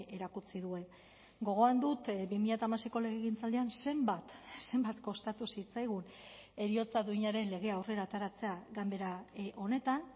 erakutsi duen gogoan dut bi mila hamaseiko legegintzaldian zenbat zenbat kostatu zitzaigun heriotza duinaren legea aurrera ateratzea ganbera honetan